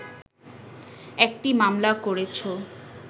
একটি মামলা করেছ